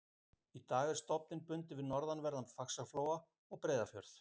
Í dag er stofninn bundinn við norðanverðan Faxaflóa og Breiðafjörð.